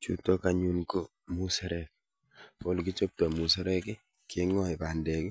Chuutok anyun ko muserek ko ole kichobtoi muserek keng'ae bandek,